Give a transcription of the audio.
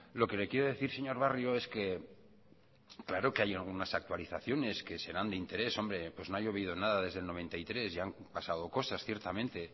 lo que le quiero decir señor barrio es que claro que hay algunas actualizaciones que serán de interés hombre pues no ha llovido nada desde el noventa y tres y han pasado cosas ciertamente